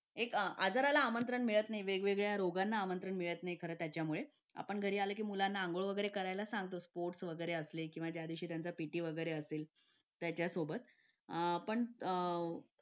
Late होतं सर्दी खोकला हा एक वाढलं आहे. एका मुलाला क्लास पूर्ण क्लास त्याच्यामध्ये वाहून निघत निघत असतो असं म्हणायला हरकत नाही. हो डेंग्यू, मलेरिया यासारखे आजार पण ना म्हणजे लसीकरण आहे. पूर्ण केले तर मला नाही वाटत आहे रोप असू शकतेपुडी लसीकरणाबाबत थोडं पालकांनी लक्ष दिलं पाहिजे की आपला मुलगा या वयात आलेला आहे. आता त्याच्या कोणत्या लसी राहिलेले आहेत का?